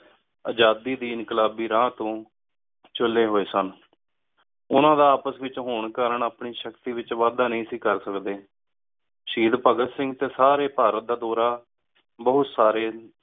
ਆਜ਼ਾਦੀ ਦੀ ਇੰਕ਼ਾਲਾਬੀ ਰਾਹ ਤੋ ਚੱਲੀ ਹੋਯ ਸਨ ਓਹਨਾ ਦਾ ਆਪਸ ਏਚ ਹੁਣ ਕਰਨ ਆਪਣੀ ਸ਼ਕਤੀ ਏਚ ਵਾਧਾ ਨੀ ਸੀ ਕਰ ਸਕਦੀ ਸ਼ਹੀਦ ਭਾਘਾਤ ਸਿੰਘ ਟੀ ਸਾਰੀ ਭਾਰਤ ਦਾ ਡੋਰ ਬੋਹਤ ਸਾਰੀ